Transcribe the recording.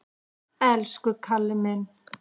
Elsku Kalli minn!